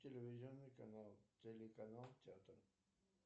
телевизионный канал телеканал театр